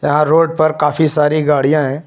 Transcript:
यहां रोड पर काफी सारी गाड़ियां हैं।